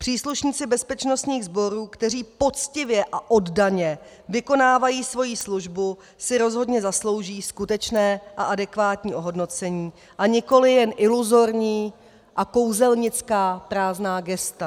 Příslušníci bezpečnostních sborů, kteří poctivě a oddaně vykonávají svoji službu, si rozhodně zaslouží skutečné a adekvátní ohodnocení a nikoliv jen iluzorní a kouzelnická prázdná gesta.